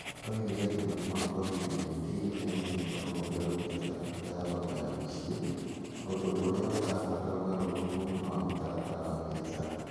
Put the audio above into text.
Oigire atĩ mũrimũ wa COVID-19 nĩ ũrutĩte rũhonge rwa biacara bata wa thoko ya mũciĩ . ũndũ ũrĩa ũrabatara ũgarũrũku wa mũtaratara wa biacara.